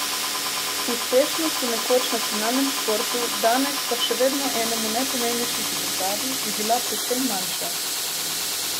Uspešnost v nekoč nacionalnem športu, danes pa še vedno enemu najpomembnejših v državi, bi bila precej manjša!